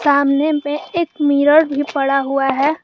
सामने में एक मिरर भी पड़ा हुआ है।